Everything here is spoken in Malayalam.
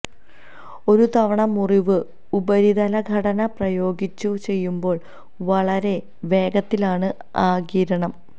ഒരു തുറന്ന മുറിവ് ഉപരിതല ഘടന പ്രയോഗിച്ചു ചെയ്യുമ്പോൾ വളരെ വേഗത്തിലാണ് ആഗിരണം